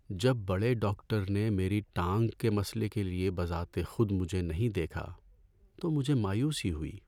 جب بڑے ڈاکٹر نے میری ٹانگ کے مسئلے کے لیے بذات خود مجھے نہیں دیکھا تو مجھے مایوسی ہوئی۔